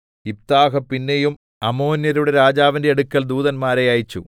യിഫ്താഹ് പിന്നെയും അമ്മോന്യരുടെ രാജാവിന്റെ അടുക്കൽ ദൂതന്മാരെ അയച്ചു